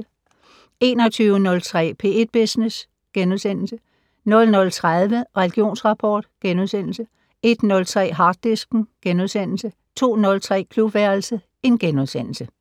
21:03: P1 Business * 00:30: Religionsrapport * 01:03: Harddisken * 02:03: Klubværelset *